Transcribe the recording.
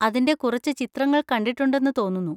അതിൻ്റെ കുറച്ച് ചിത്രങ്ങൾ കണ്ടിട്ടുണ്ടെന്ന് തോന്നുന്നു.